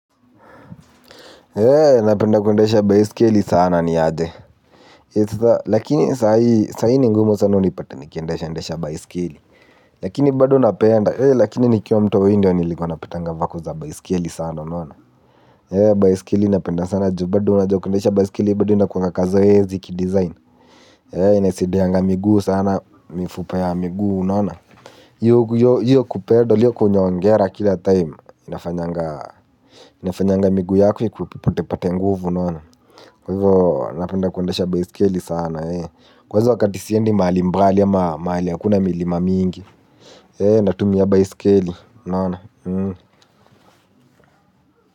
Hee napenda kuendesha baiskeli sana niaje lakini sahii ni ngumu sana unipate nikiendesha endesha baiskeli lakini bado napenda lakini nikiwa mtoi ndiyo nilikuwa napataga voko za baiskeli sana unaona hee baiskeli napenda sana ju bado unajua kuendesha baiskeli bado inakuwanga kazoezi ki design hee inasaidianga miguu sana mifupa ya miguu unaona hiyo kuperdo hiyo kunyongera kila time inafanyanga inafanyanga miguu yako yako ikupatepate nguvu unaona, kwahivyo napenda kuendesha baiskeli sana kwanza wakati siendi mahali mbali ama mahali hakuna milima mingi. Natumia baiskeli unaona.